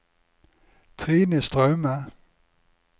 Trine Straume